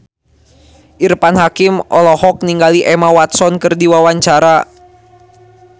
Irfan Hakim olohok ningali Emma Watson keur diwawancara